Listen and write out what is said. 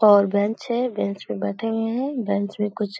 और बेंच है। बेंच पे बैठे हुए हैं। बेंच पे कुछ--